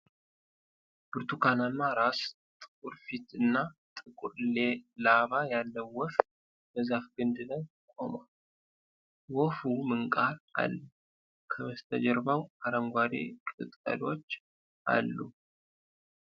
ብርቱካናማ ራስ፣ ጥቁር ፊት እና ጥቁር ላባ ያለው ወፍ በዛፍ ግንድ ላይ ቆሟል። ወፉ ምንቃር አለው፤ ከበስተጀርባው አረንጓዴ ቅጠሎች አሉ።